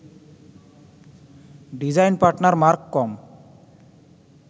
design partner marcom